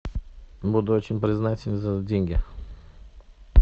буду очень признателен за деньги